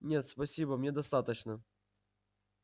нет спасибо мне достаточно